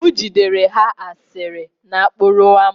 M jidere ha asịrị n'okporo ámá